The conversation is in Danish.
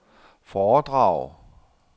foredrag